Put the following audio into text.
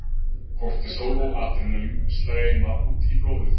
Kortisól og adrenalín streyma út í blóðið.